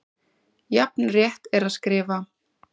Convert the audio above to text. Jafn rétt er að skrifa